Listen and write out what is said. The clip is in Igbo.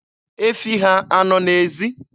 Efi ha a nọ n'ezi?